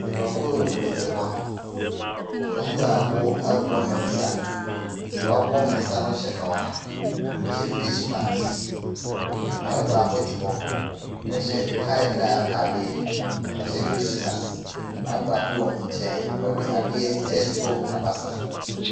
Nnipakuo bebree te hɔ, ɛmu baako aboa ne nsa, deɛ waboa ne nsa no hyɛ kawa, chyɛ face mask. Maame baako te hɔ, ɔhyɛ tie and dye ataadeɛ wahyɛ face mask, maame baako wɔ ne nkyɛn, ɔde adeɛ ɛreto n’abasa so.